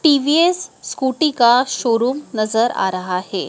TVS Scooty का showroom नजर आ रहा है।